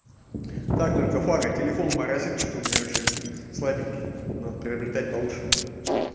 так только флага телефон моросит что-то у меня вообще слабенький надо приобретать получше